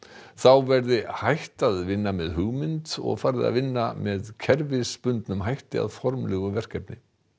þá verði hætt að vinna með hugmynd og farið að vinna með kerfisbundnum hætti að formlegu verkefni